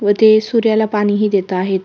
व ते सूर्याला पाणी हि देत आहेत.